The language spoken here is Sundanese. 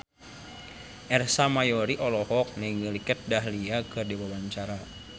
Ersa Mayori olohok ningali Kat Dahlia keur diwawancara